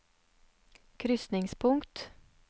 krysningspunkt